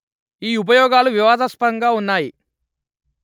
ఈ ఉపయోగాలు వివాదస్పదంగా ఉన్నాయి